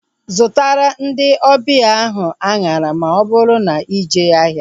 Zụtara ndị ọbịa ahu anyara ma ọ bụrụ na ije ahịa